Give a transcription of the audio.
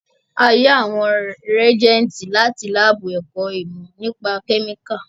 A yá àwọn rìégẹ́ntì láti lábù ẹ̀kọ́ ìmọ́ nípa kẹ́míkà